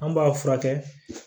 An b'a furakɛ